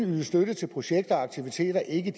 ydes støtte til projekter og aktiviteter ikke